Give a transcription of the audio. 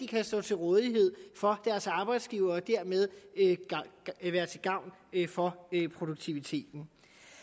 kan stå til rådighed for deres arbejdsgiver og dermed være til gavn for produktiviteten